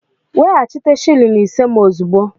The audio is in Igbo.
Weghachite shịlịn isé m ozugbo!